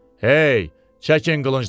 Hey, çəkin qılıncları.